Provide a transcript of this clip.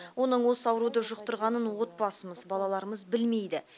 оның осы ауруды жұқтырғанын отбасымыз балаларымыз білмейді